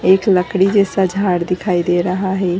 एक लकड़ी जैसा झाड़ दिखाई दे रहा है।